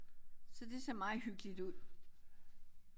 Så det ser meget hyggeligt ud